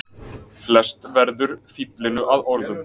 Flest verður fíflinu að orðum.